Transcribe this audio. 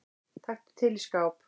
Taktu til í skáp.